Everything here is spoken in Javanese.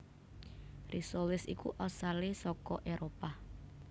Risoles iku asalé saka Éropah